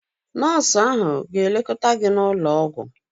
Nọọsụ ahụ ga-lekọta gị n'ụlọ ọgwụ.